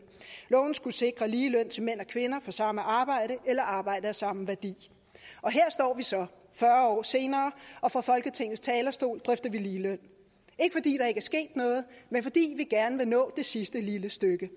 loven skulle sikre lige løn til mænd og kvinder for samme arbejde eller arbejde af samme værdi og her står vi så fyrre år senere og fra folketingets talerstol drøfter vi ligeløn ikke fordi der ikke er sket noget men fordi vi gerne vil nå det sidste lille stykke